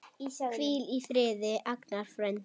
Hvíl í friði, Agnar frændi.